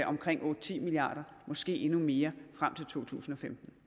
omkring otte ti milliard kroner og måske endnu mere frem til totusinde